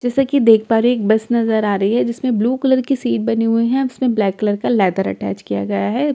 जैसे कि देख पा रही एक बस नजर आ रही है जिसमें ब्‍लू कलर की सीट बनी हुई है उसमें ब्‍लैक कलर का लेदर अटैच किया गया है।